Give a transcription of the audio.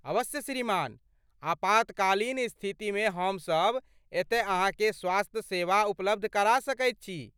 अवश्य श्रीमान, आपातकालीन स्थितिमे हमसब एतय अहाँकेँ स्वास्थ्य सेवा उपलब्ध करा सकैत छी।